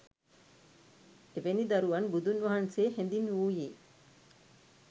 එවැනි දරුවන් බුදුන් වහන්සේ හැඳින්වූයේ